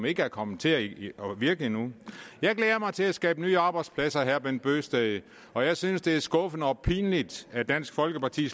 ikke er kommet til at virke endnu jeg glæder mig til at skabe nye arbejdspladser herre bent bøgsted og jeg synes det er skuffende og pinligt at dansk folkeparti